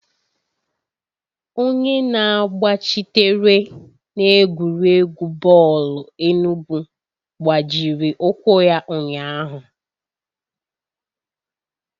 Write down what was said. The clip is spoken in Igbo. Onye na-agbachitere n'egwuregwu bọọlụ enugwu gbajiri ụkwụ ya ụnyahụ.